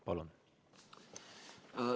Palun!